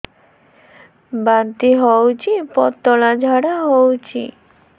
ବାନ୍ତି ହଉଚି ପତଳା ଝାଡା ହଉଚି